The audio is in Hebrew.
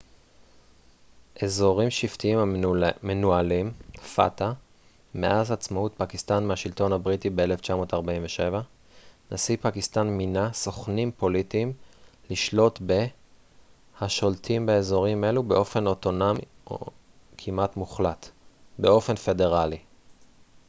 "מאז עצמאות פקיסטן מהשלטון הבריטי ב- 1947 נשיא פקיסטן מינה "סוכנים פוליטיים" לשלוט ב- fata אזורים שבטיים המנוהלים באופן פדרלי השולטים באזורים אלו באופן אוטונומי כמעט מוחלט.